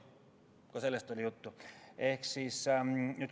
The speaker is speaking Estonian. Ka sellest oli juttu.